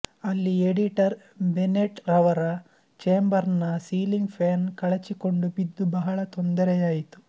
ಅಲ್ಲಿ editor Bennett ರವರ chamber ನ ಸೀಲಿಂಗ್ ಫ್ಯಾನ್ ಕಳಚಿಕೊಂಡು ಬಿದ್ದು ಬಹಳ ತೊಂದರೆಯಾಯಿತು